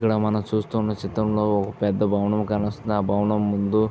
ఇక్కడ మనం చూస్తున్న చిత్రమ్లో ఒక పెద్ద భవనము కనిపిస్తున్నది. ఆ భవనం ముందు --